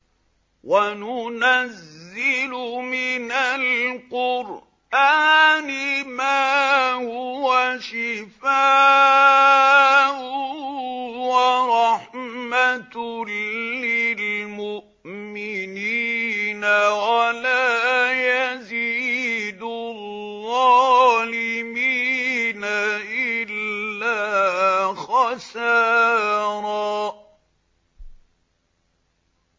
وَنُنَزِّلُ مِنَ الْقُرْآنِ مَا هُوَ شِفَاءٌ وَرَحْمَةٌ لِّلْمُؤْمِنِينَ ۙ وَلَا يَزِيدُ الظَّالِمِينَ إِلَّا خَسَارًا